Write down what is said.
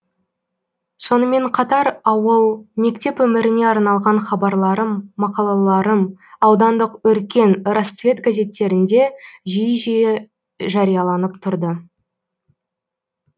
сонымен қатар ауыл мектеп өміріне арналған хабарларым мақалаларым аудандық өркен расцвет газеттерінде жиі жиі жарияланып тұрды